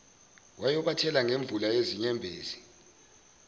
wayobathela ngemvula yezinyembezi